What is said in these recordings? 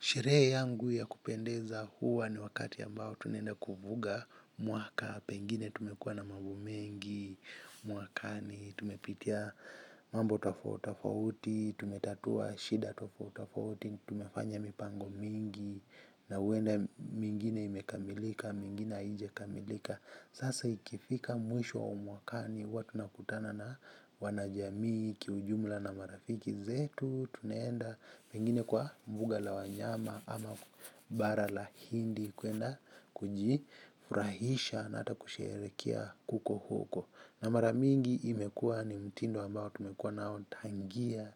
Sherehe yangu ya kupendeza huwa ni wakati ambao tunaenda kuvuka mwaka, pengine tumekua na mambo mengi, mwakani, tumepitia mambo tofauti tofauti, tumetatua shida tofauti tofauti, tumefanya mipango mingi, na huenda mingine imekamilika, mingine haija kamilika. Sasa ikifika mwisho wa mwakani huwa tuna kutana na wanajamii, kiujumla na marafiki zetu, tunaenda pengine kwa mbuga la wanyama ama bara la hindi kwenda kujifurahisha na ata kusherehekea kuko huko. Na mara mingi imekua ni mtindo ambao tumekua nao tangia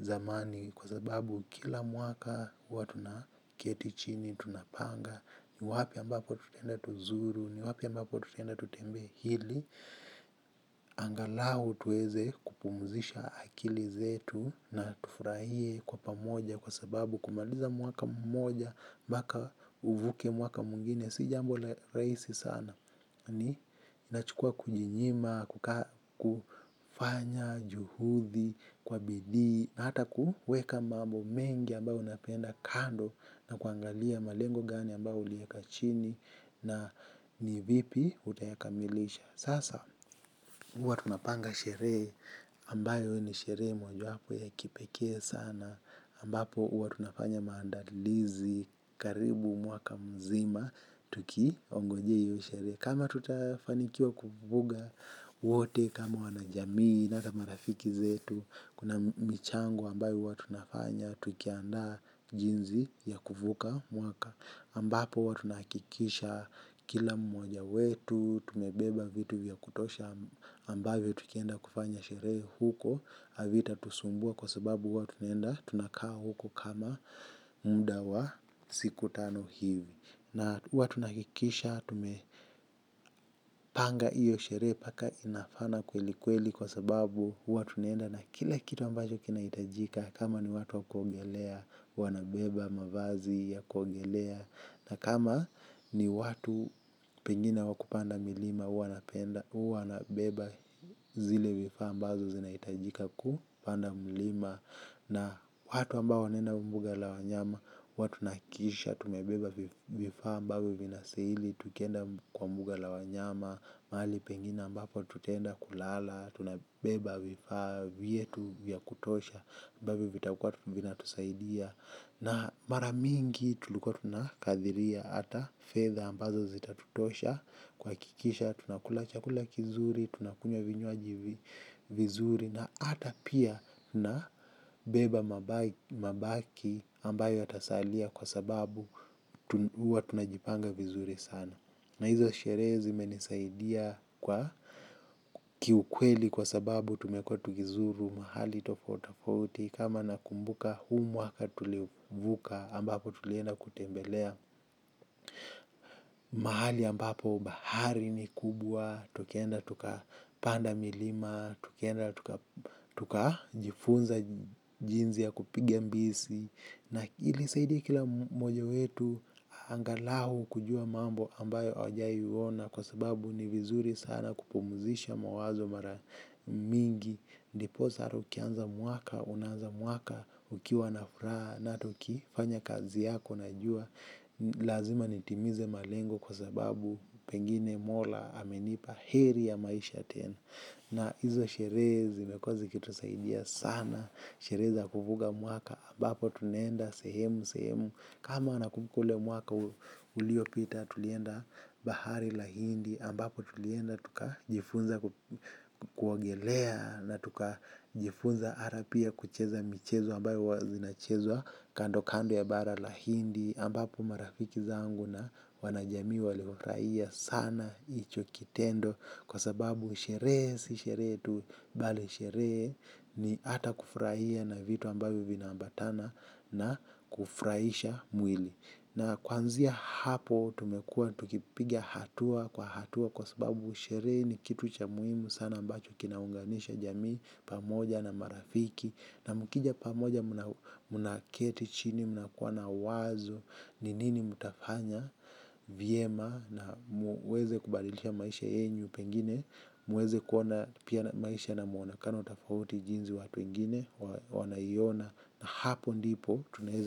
zamani kwa sababu kila mwaka huwa tuna keti chini, tunapanga, ni wapi ambapo tutaenda tuzuru, ni wapi ambapo tutaenda tutembee ili, angalau tuweze kupumzisha akili zetu na tufurahie kwa pamoja kwa sababu kumaliza mwaka mmoja mpaka uvuke mwaka mwigine. Si jambo rahisi sana ni nachukua kujinyima, kufanya juhudi, kwa bidii, na hata kuweka mambo mengi ambayo unapenda kando na kuangalia malengo gani ambayo ulieka chini na ni vipi utayakamilisha. Sasa huwa tunapanga sherehe ambayo ni sherehe moja wapo ya kipekee sana ambapo huwa tunafanya maandalizi karibu mwaka mzima tukingojea hio sherehe. Kama tutafanikiwa kuvuka wote kama wanajamii na ata marafiki zetu kuna michango ambayo huwa tunafanya tukianda jinsi ya kuvuka mwaka. Ambapo huwa tunakikisha kila mmoja wetu, tumebeba vitu vya kutosha ambavyo tukienda kufanya sherehe huko, havita tusumbua kwa sababu huwa tunaenda tunakaa huko kama muda wa siku tano hivi. Na hiwa tunahakikisha tume tumepanga iyo sherehe mpaka inafana kweli kweli kwa sababu huwa tunaenda na kila kitu ambacho kinahitajika. Kama ni watu wakuogelea wanabeba mavazi ya kuogelea. Na kama ni watu pengine wa kupanda milima wanapenda huwa nabeba zile vifaa ambavyo zinahitajika kupanda milima. Na watu ambao wanaenda mbuga la wanyama, huwa tunahakikisha, tumebeba vifaa ambavyo vinastahili, tukienda kwa mbuga la wanyama, mahali pengine ambapo tutenda kulala, tunabeba vifaa vyetu vya kutosha, ambavyo vitakua vina tusaidia. Na mara mingi tulikua tunakathiria ata fetha ambazo zitatutosha kuhakikisha, tunakula chakula kizuri, tunakunywa vinywaji vizuri na ata pia na beba mabaki ambayo yatasalia kwa sababu huwa tunajipanga vizuri sana. Na hizo sherehe zimenisaidia kwa kiukweli kwa sababu tumekuwa tukizuru mahali tofauti tofauti kama nakumbuka huu mwaka tulivuka ambapo tulienda kutembelea mahali ambapo bahari ni kubwa, tukienda tuka panda milima, tukienda tuka jifunza jinzi ya kupiga mbizi. Na ilisaidia kila mmoja wetu angalau kujua mambo ambayo hajawahi kuona kwa sababu ni vizuri kupumzisha mawazo mara nyingi ndiposa ata ukianza mwaka unaanza mwaka ukiwa na furaha na ata ukifanya kazi yako unajua ni lazima nitimize malengo kwa sababu pengine mola amenipa heri ya maisha tena. Na izo sherehe zimekua zikitusaidia sana sherehe za kuvuka mwaka ambapo tunaenda sehemu sehemu. Kama nakumbuka ule mwaka ulio pita tulienda bahari la hindi ambapo tulienda tuka jifunza kuogelea. Na tuka jifunza hata pia kucheza michezo ambayo huwa zinachezwa kando kando ya bara la hindi ambapo marafiki zangu na wana jamii walifurahia sana hicho kitendo kwa sababu sherehe si sherehe tu bali sherehe ni ata kufurahia na vitu ambavyo vina ambatana na kufurahisha mwili na kuanzia hapo tumekua tukipigia hatua kwa hatua kwa sababu sherehe ni kitu cha muhimu sana ambacho kinaunganisha jamii pamoja na marafiki na mukija pamoja. Mna keti chini. Mna kuwa na wazo. Ni nini mtafanya. Vyema na muweze kubadilisha maisha yenyu pengine muweze kuwa na pia na maisha na muonekano tofauti jinsi watu wengine wanaiona hapo ndipo tunaeza.